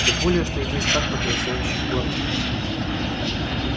тем более что здесь так потрясающе кормят